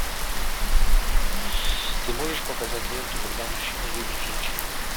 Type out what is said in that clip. ты можешь показать ленту когда мужчина любит женщину